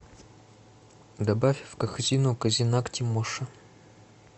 добавь в корзину козинак тимоша